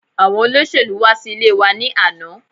Àwọn olóṣèlú wá sí ilé wa ni àná